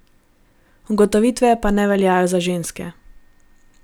Ugotovitve pa ne veljajo za ženske.